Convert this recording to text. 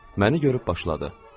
Məni görüb başladı.